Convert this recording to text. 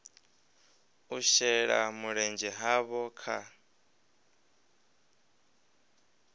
u shela mulenzhe havho kha